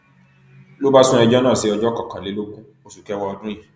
ló bá sún ẹjọ náà sí ọjọ kọkànlélógún oṣù kẹwàá ọdún yìí